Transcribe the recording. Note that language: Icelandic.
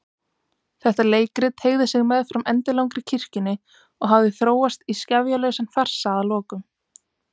Þetta leikrit teygði sig meðfram endilangri kirkjunni og hafði þróast í skefjalausan farsa að lokum.